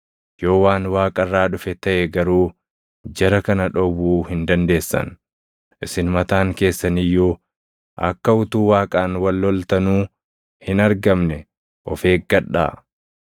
Yoo waan Waaqa irraa dhufe taʼe garuu jara kana dhowwuu hin dandeessan; isin mataan keessan iyyuu akka utuu Waaqaan wal loltanuu hin argamne of eeggadhaa!”